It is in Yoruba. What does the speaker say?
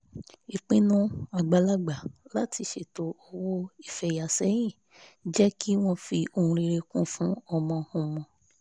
ìpinnu àgbàlagbà láti ṣètò owó ifeyà sẹ́yìn jẹ́ kí wọ́n fi ohun rere kù fún ọmọ-ọmọ